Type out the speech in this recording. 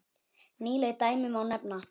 Nýleg dæmi má nefna.